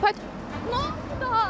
Nə oldu daha?